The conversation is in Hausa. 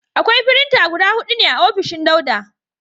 Akwai firinta guda hudu ne a ofishin Dauda.